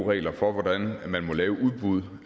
eu regler for hvordan man må lave udbud